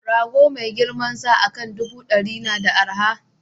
Rago mai girmansa akan ɗubu ɗari na da arha